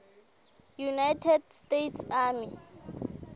united states army